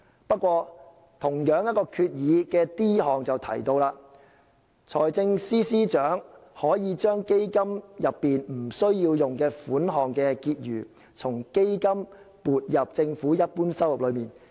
不過，同一項決議的 d 項提到："財政司司長可 ——i 將基金內基金不需用的款項的結餘從基金撥入政府一般收入內"。